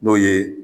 N'o ye